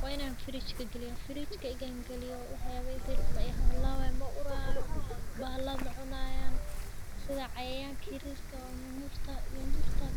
waa ina (fridge) geliyo mahalabayo maurayo bahalo macunayan cayanka iyo nyanyurta